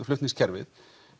flutningskerfið